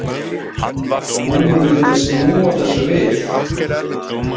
Hún vildi snúa þessu við.